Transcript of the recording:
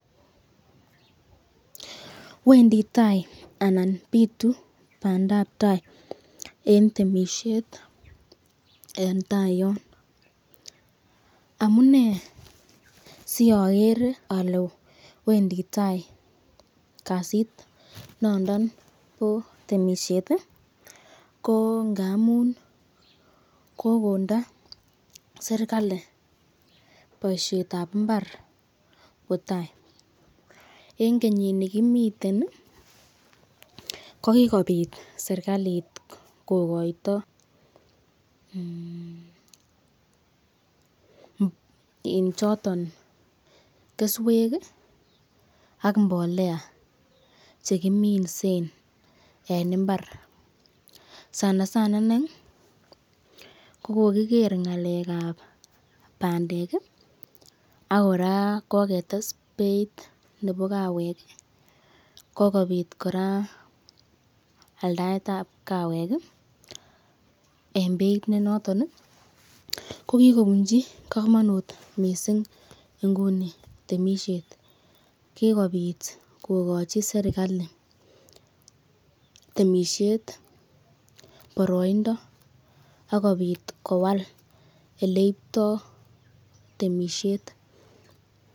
Wendi tai anan bitu bandap tai en temisiet en tai yon amune siogere ole wendi taikasit nondon bo temisiet ko ngamun kogonde serkalit boisiet ab mbar kwo tai. En kenyini kimeten ko kigobit serkalit kogoito choton keswek ak mbolea choton kiminsen en mbar sanasana iney ko kogiker ng'alek ab bandek ak kora kogetes beit nebo kawek, kogobit kora aldaet ab kawek en beit ne noton. Ko kigobunji komonut mising nguni temisiet kigobit kogochi serkalit temisiet boroindo ak kobit kowal ele ibtoi temisiet.